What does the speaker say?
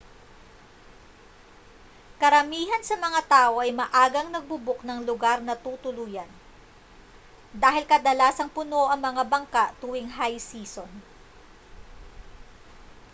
karamihan sa mga tao ay maagang nagbo-book ng lugar na tutuluyan dahil kadalasang puno ang mga bangka tuwing high season